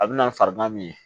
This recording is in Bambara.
A bɛ na farigan min ye